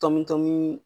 Tɔmi tɔmi